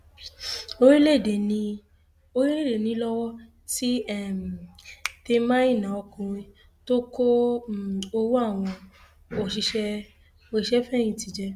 orílẹèdè níée lọwọ ti um tẹ maina ọkùnrin tó kó um owó àwọn òṣìṣẹfẹyìntì jẹ